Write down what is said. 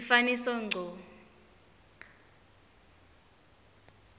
sifaniso ngco